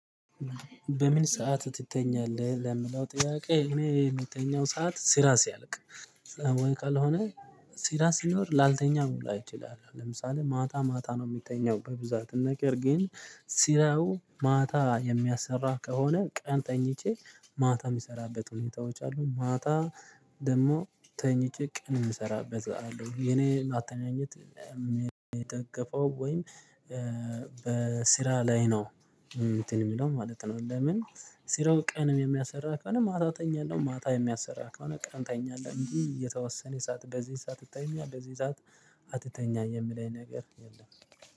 በምን ሰዓት ትተኛለህ ለሚለው ጥያቄ? እኔ የምተኛው ሰዓት ስራ ሲያልቅ ወይ ካልሆነ ስራ ሲኖር ላልተኛ ሁላ እችላለሁ። ለምሳሌ ማታ ማታ ነው የምተኛው በብዛት ነገር ግን ስራው ማታ የሚያሰራ ከሆነ ቀን ተኝቼ ማታ የምሰራበት ሁኔታዎች አሉ ማታ ደግሞ ተኝቼ ቀን ምሰራበት ሰዓት ነው የኔ አተኛኘት የሚታቀፈው። ወይም በስራ ላይ ነው እንትን የሚለው ማለት ነው። ለምን ስራው ቀን የሚያሰራ ከሆነ ማታ ተኛለሁ ማታ የሚያሰራ ከሆነ ቀን ተኛለሁ እንጂ የተወሰነ ሰዓት በዚህ ሰዓት ትተኛ በዚህ ሰዓት አትተኛ የምለኝ ነገር የለም